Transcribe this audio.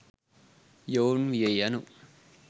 යොවුන් විය යනු